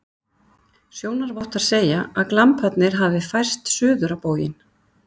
Sjónarvottar segja, að glamparnir hafi færst suður á bóginn.